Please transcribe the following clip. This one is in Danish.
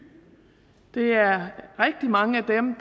det er rigtig mange af dem